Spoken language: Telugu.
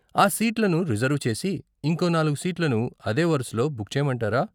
ఆ సీట్లను రిజర్వు చేసి, ఇంకో నాలుగు సీట్లను అదే వరుసలో బుక్ చెయ్యమంటారా?